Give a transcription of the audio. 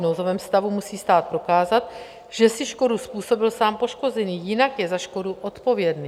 V nouzovém stavu musí stát prokázat, že si škodu způsobil sám poškozený, jinak je za škodu odpovědný.